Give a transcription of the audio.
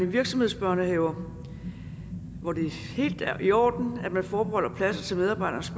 virksomhedsbørnehaver hvor det er helt i orden at man forbeholder pladser til medarbejdernes